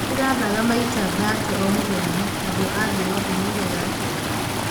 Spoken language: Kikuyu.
Nĩ ndĩrathaga maita 30 o mũthenya. Andũ a thĩ yothe moigaga atĩa?